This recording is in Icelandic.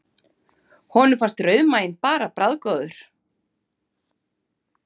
Og honum fannst rauðmaginn bara bragðgóður.